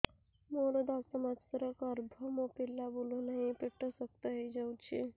ମୋର ଦଶ ମାସର ଗର୍ଭ ମୋ ପିଲା ବୁଲୁ ନାହିଁ ପେଟ ଶକ୍ତ ହେଇଯାଉଛି